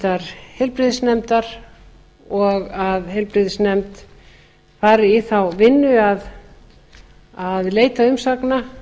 háttvirtrar heilbrigðisnefndar og að heilbrigðisnefnd fari í þá vinnu að leita umsagna